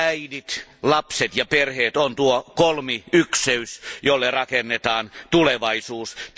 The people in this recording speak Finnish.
Äidit, lapset ja perheet on tuo kolmiykseys, jolle rakennetaan tulevaisuus.